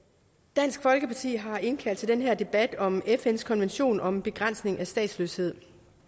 dansk folkeparti har indkaldt til den her debat om fns konvention om begrænsning af statsløshed